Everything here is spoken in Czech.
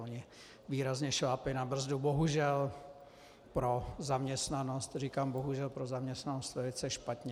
Oni výrazně šlápli na brzdu, bohužel pro zaměstnanost, říkám bohužel pro zaměstnanost velice špatně.